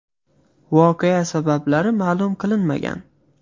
Voqea sabablari ma’lum qilinmagan.